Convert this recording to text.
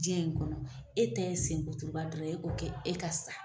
Jiyɛn in kɔnɔ e ta ye senkuturuba dɔrɔn ye e ko kɛ e ka sa.